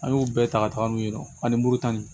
An y'o bɛɛ ta ka taga n'u ye ani muru tan nin